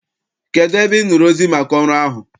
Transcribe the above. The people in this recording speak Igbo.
Kedụ ebe Ị nụrụ ozi maka ọrụ ahụ?